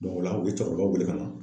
o la u ye cɛkɔrɔba wele ka na.